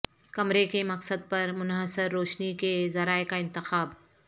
کمرے کے مقصد پر منحصر روشنی کے ذرائع کا انتخاب